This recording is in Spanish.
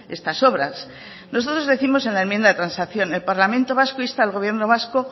estas obras nosotros décimos en la enmienda de transacción el parlamento vasco insta al gobierno vasco